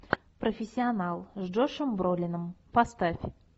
профессионал с джошом бролином поставь